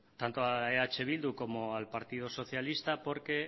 tanto a eh bildu como al partido socialista porque